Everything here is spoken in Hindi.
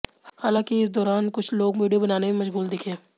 हालांकि इस दौरान कुछ लोग वीडियो बनाने में मशगूल दिखे